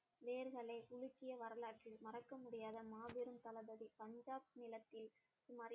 வேர்களை உலுக்கிய வரலாற்றில் மறக்க முடியாத மாபெரும் தளபதி பஞ்சாப் நிலத்தில்